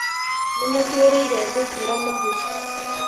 Nĩmũtuĩrĩire thungura mahuti.